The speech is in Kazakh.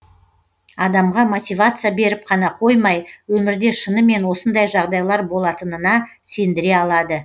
адамға мотивация беріп қана қоймай өмірде шынымен осындай жағдайлар болатынына сендіре алады